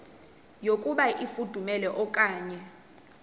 yokuba ifudumele okanye